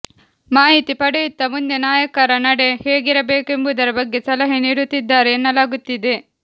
ಮಾಹಿತಿ ಪಡೆಯುತ್ತಾ ಮುಂದೆ ನಾಯಕರ ನಡೆ ಹೇಗಿರಬೇಕೆಂಬುದರ ಬಗ್ಗೆ ಸಲಹೆ ನೀಡುತ್ತಿದ್ದಾರೆ ಎನ್ನಲಾಗುತ್ತಿದೆ